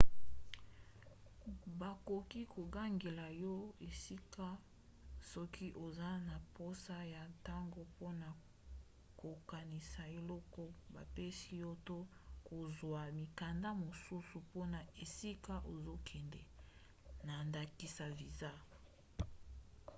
bakoki kokangela yo esika soki oza na mposa ya ntango mpona kokanisa eloko bapesi yo to kozwa mikanda mosusu mpona esika ozokende na ndakisa viza